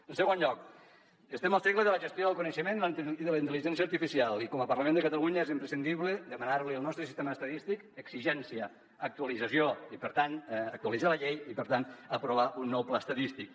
en segon lloc estem al segle de la gestió del coneixement i de la intel·ligència artificial i com a parlament de catalunya és imprescindible demanar li al nostre sistema estadístic exigència actualització i per tant actualitzar la llei i per tant aprovar un nou pla estadístic